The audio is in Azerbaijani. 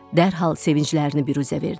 Dərhal sevinclərini büruzə verdilər.